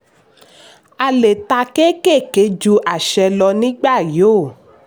a le tà kékèké ju àṣẹ lọ nígbà yóò.